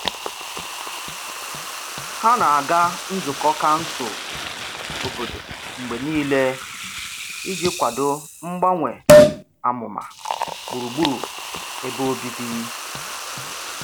Ha na-aga nzukọ kansụl obodo mgbe niile iji kwado mgbanwe amụma gburugburu ebe obibi.